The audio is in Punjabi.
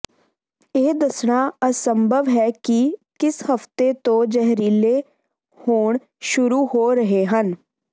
ਇਹ ਦੱਸਣਾ ਅਸੰਭਵ ਹੈ ਕਿ ਕਿਸ ਹਫ਼ਤੇ ਤੋਂ ਜ਼ਹਿਰੀਲੇ ਹੋਣ ਸ਼ੁਰੂ ਹੋ ਰਹੇ ਹਨ